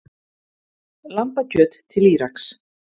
Lambakjöt til Íraks